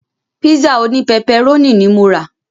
Pízà òní pẹpẹrónì ní mo rà.